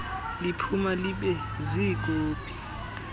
liphuma libe ziikopi